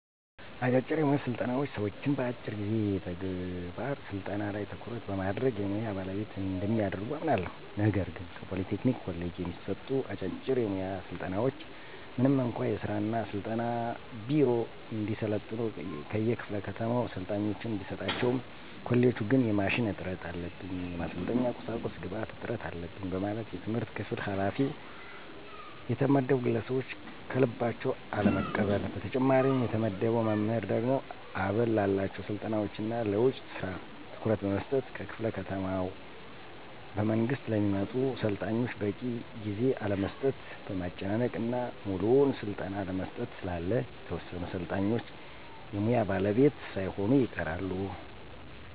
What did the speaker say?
አጫጭር የሙያ ስልጠናዎች ሰዎችን በአጭር ጊዜ የተግባር ስልጠና ላይ ትኩረት በማድረግ የሙያ ባለቤት እንደሚያደርጉ አምናለሁ። ነገር ግን ከፖሊ ቴክኒክ ኮሌጅ የሚሰጡ አጫጭር የሙያ ስልጠናዎች ምንም እንኳ የሥራ እና ስልጠና ቢሮ እንዲያሰለጥኑ ከየክፋለ ከተማው ሰልጣኞችን ቢሰጣቸውም ኮሌጁ ግን የማሽን እጥረት አለብኝ፣ የማሰልጠኛ ቁሳቁስ ግብአት እጥረት አለበኝ በማለት የትምህርት ክፍል ኋላፊ የተመደቡ ግለሰቦች ከልባቸው አለመቀበል። በተጨማሪም የተመደበው መምህር ደግሞ አበል ላላቸው ስልጠናዎች እና ለውጭ ስራ ትኩረት በመስጠት ከክፍለ ከተማ በመንግስት ለሚመጡ ሰልጣኞች በቂ ጊዜ አለመስጠት፣ ማመናጨቅ እና ሙሉውን ስልጠና አለመስጠት ስላለ የተወሰኑ ሰልጣኞች የሙያ ባለቤት ሳይሆኑ ይቀራሉ።